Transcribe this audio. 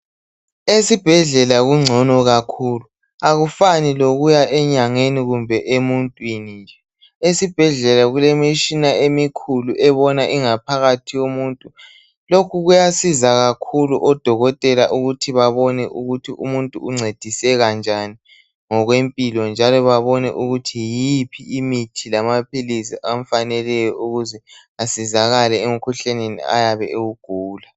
Esibhedlela kungcono kakhulu, akufani lokuya enyangeni kumbe emuntwini nje. Esibhedlela kulemitshina emikhulu ebona ingaphakathi yomuntu. Lokhu kuyasiza kakhulu odokotela ukuthi babone ukuthi umuntu uncediseka njani ngokwempilo njalo babone ukuthi yiphi imithi lamaphilisi amfaneleyo ukuze asizakale emkhuhlaneni ayabe ewugula.